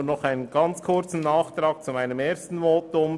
Nur noch einen ganz kurzen Nachtrag zu meinem ersten Votum.